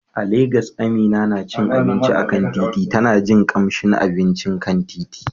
A Legas, Amina na cin abinci a kan titi, tana jin kamshin abincin kan titi.